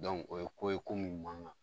o ye ko ye ko munnu man gan